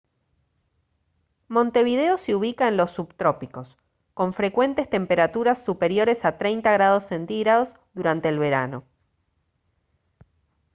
montevideo se ubica en los subtrópicos con frecuentes temperaturas superiores a +30° c durante el verano